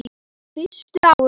Á fyrstu árum